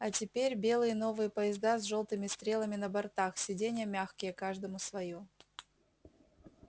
а теперь белые новые поезда с жёлтыми стрелами на бортах сиденья мягкие каждому своё